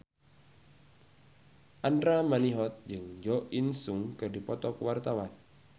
Andra Manihot jeung Jo In Sung keur dipoto ku wartawan